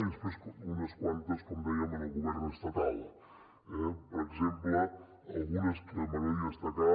i després unes quantes com dèiem al govern estatal eh per exemple algunes que m’agradaria destacar